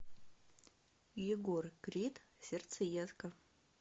егор крид сердцеедка